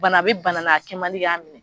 Bana a bɛ bana a kɛmandi ka minɛ.